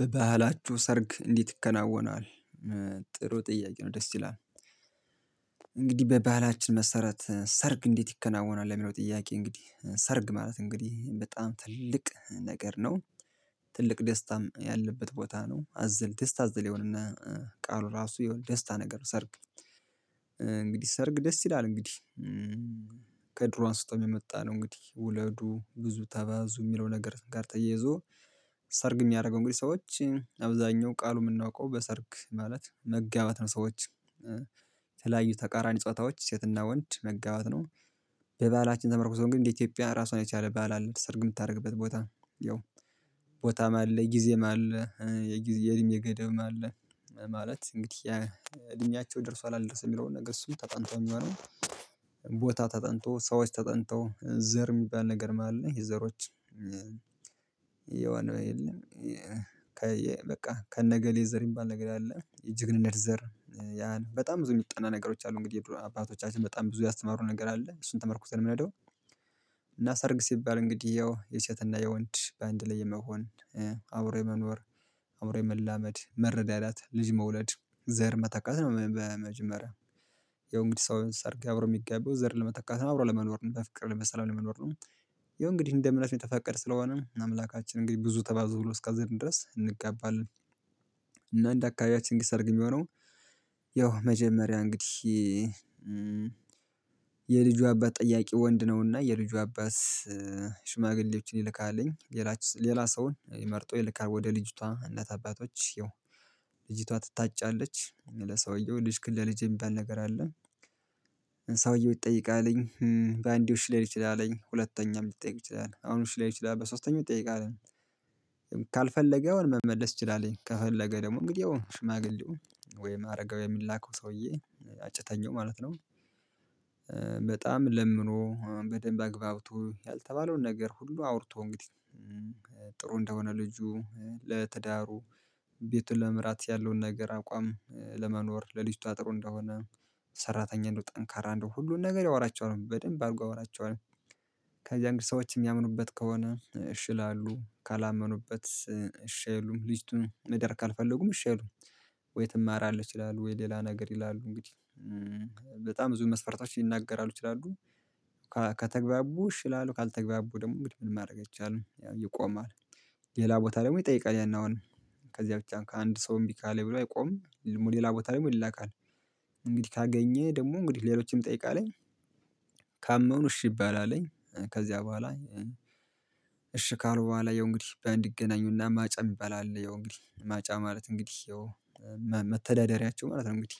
በባህላችሁ ሰርግ እንዴት ትከናወናል? ጥሩ ጥያቄ ነው ደስ ይላል እንግዲህ በባህላችን መሰረት ሰርግ እንዴት ይከናወናል የሚለው ጥያቄ እንግዲህ ሰርግ ማለት እንግዲህ በጣም ትልቅ ነገር ነው ትልቅ ደስታም ያለበት ቦታ ነው አዝል ደስታ አዝል የሆነ ቃሉ ራሱ የሆነ ደስታ ነገር ሰርግ እንግዲህ ሰርግ ደስ ይላል እንግዲህ ከድሮ አንስቶ የመጣ ነው እንግዲህ ውለዱ ብዙ ተባዙ የሚለው ነገር ጋር ተይዞ ሰርግ የሚያደርገው እንግዲህ ሰዎች አብዛኛው ቃሉ የምናውቀው በሰርግ ማለት መጋባት ነው ሰዎች የተለያዩ ተቃራኒ ጾታዎች ሴትና ወንድ መጋባት ነው በባህላችን ተመርኩቶ ግን እንደ ኢትዮጵያ ራሷን የቻለ ባህል አለ ሰርግ የምታደርግበት ቦታ ያው ቦታም አለ ጊዜም አለ የጊዜ የእድሜ ገደብም አለ ማለት እንግዲህ እድሜያቹው ደርሷል አልደረሰም የሚለውን ነገር እሱ ተጠንቶ የሚሆነው ቦታ ተጠንቶ ሰዎች ተጠንተው ዘር የሚባል ነገርም አለ የዘሮች የሆነ የለም በቃ ከነገሌ ዘር የሚባል ነገር አለ የጅግነት ዘር በጣም ብዙ የሚጠና ነገሮች አሉ እንግዲህ የድሮ አባቶቻችን በጣም ብዙ ያስተማሩ ነገር አለ እሱን ተመርኩዘን ነው የምንሄደው እና ሰርግ ሲባል እንግዲህ ያው የሴትና የወንድ በአንድ ላይ የመሆን አብሮ የመኖር አምሮ የመላመድ መረዳዳት ልጅ መውለድ ዘር መተካት ነው በመጀመሪያ ያው እንግዲህ ሰው ሰርግ አብሮ የሚጋባው ዘር ለመተካት አብሮ ለመኖር ነው በፍቅር በሰላም ለመኖር ነው ያው እንግዲህ እንደ እምነት የተፈቀደ ስለሆነ አምላካችን እንግዲህ ብዙ ተባዙ ብሎ እስካዘዘን ድረስ እንጋባለን እና እንደ አካባቢያችን ህግ ስርግ የሚሆነው ያው መጀመሪያ እንግዲህ የልጁ አባት ጠያቂ ወንድ ነውና የልጁ አባት ሽማግሌዎችን ይልካልኝ ሌላ ሌላ ሰውን መርጦ ይልካል ወደ ልጅቷ እናት አባቶችየው ልጅቷ ትታጫለች ለሰውየው ልጅክን ለልጄ የሚባል ነገር አለ ሰውየው ይጠይቃልኝ በአንዴው እሺ ላይል ይችላልኝ ሁለተኛም ሊጠየቅ ይችላል አሁንም እሺ ላይ ይችላል በሶስተኛው ይጠየቃል ካልፈለገ የሆነ መመለስ እችላለሁኝ ከፈለገ ደግሞ እንግዲያው ሽማግሌው ወይ አረጋዊው የሚላከው ሰውዬ አጭተኛው ማለት ነው በጣም ለምኖ በደንብ አግባብቶ ያልተባለውን ነገር ሁሉ አውርቶ እንግዲህ ጥሩ እንደሆነ ልጁ ለትዳሩ ቤቱን ለመምራት ያለውን ነገር አቋም ለመኖር ለልጅቷ አጥሮ እንደሆነ ሰራተኛ እንደው ጠንካራ እንደው ሁሉን ነገር ያወራቸዋል በደንብ አድርጎ ያወራቸዋል ከዚያን ግን ሰዎች የሚያምኑበት ከሆነ እሺ ይላሉ ካላመኑበት እሺ አይሉም ልጅቱን መዳር ካልፈለጉም እሺ አይሉም ወይ ትማራለች ይላሉ ወይ ሌላ ነገር ይላሉ እንግዲህ በጣም ብዙ መስፈርቶችን ሊናገራሉ ይችላሉ ከተግባቡ እሺ ይላሉ ካልተግባቡ ደግሞ እንግዲህ ምን ማድረግ አይቻልም ያው ይቆማል ሌላ ቦታ ደግሞ ይጠይቃል ያን አሁን ከዚያ ብቻ ከአንድ ሰው እምቢ ካለኝ ብሎ አይቆምም ልሞ ሌላ ቦታ ልሞ ይላካል እንግዲህ ካገኘ ደግሞ እንግዲህ ሌሎችንም ይጠይቃልኝ ካመኑ እሺ ይባላልኝ ከዚያ በኋላ ካሉ በኋላ የሆነ እንግዲህ ባንዲይገናኙና ማጫ ሚባል አለ ያው እንግዲህ ማጫ ማለት እንግዲህ ያው መም መተዳደሪያቸው ማለት ነው እንግዲህ